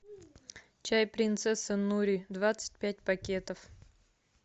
чай принцесса нури двадцать пять пакетов